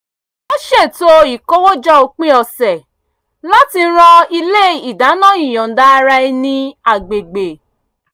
wọ́n ṣètò ìkówójọ òpin ọ̀sẹ̀ láti ran ilé ìdáná ìyọ̀ǹda ara ẹni agbègbè